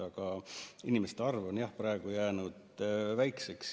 Aga inimeste arv on jah praegu jäänud väikseks.